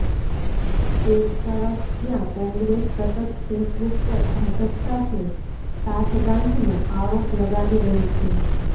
એક તરફ જ્યાં કોંગ્રેસ સતત ફેસબુક પર ભાજપ સાથે સાઠગાંઠનો આરોપ લગાવી રહી છે